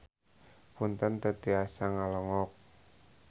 Punten teu tiasa ngalongok.